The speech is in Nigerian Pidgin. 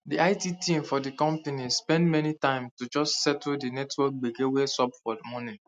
the it team for the company spend many time just to settle the network gbege wey sup for morning